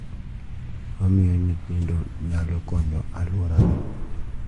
ma miyo nyithindo nyalo konyo e alworagi.